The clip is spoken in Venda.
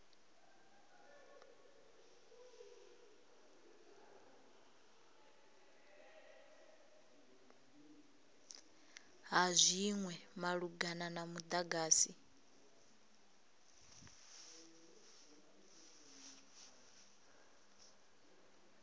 ha zwinwe malugana na mudagasi